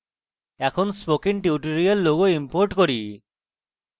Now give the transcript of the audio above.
এখন spoken tutorial logo import করি